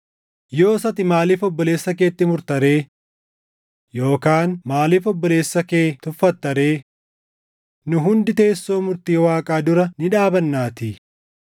Yoos ati maaliif obboleessa keetti murta ree? Yookaan maaliif obboleessa kee tuffatta ree? Nu hundi teessoo murtii Waaqaa dura ni dhaabannaatii.